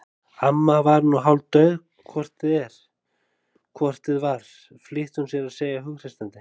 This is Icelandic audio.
Amma var nú hálfdauð hvort eð var flýtti hún sér að segja hughreystandi.